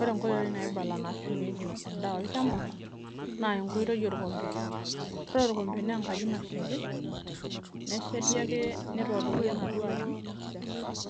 ore inkitoi naibala naashumieki endaa olchamba naa enkitoi orkombe ore ena naa enkaji nasheti nilepieki